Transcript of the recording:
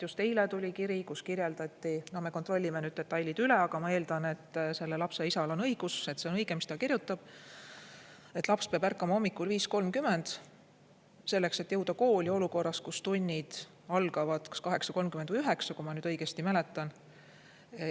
Just eile tuli kiri, kus kirjeldati – no me kontrollime nüüd detailid üle, aga ma eeldan, et selle lapse isal on õigus, et see on õige, mis ta kirjutab –, et laps peab ärkama hommikul 5.30 selleks, et jõuda kooli olukorras, kus tunnid algavad kas 8.30 või 9.00, kui ma nüüd õigesti mäletan.